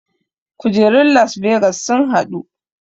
Kujerun las vegas sun haɗu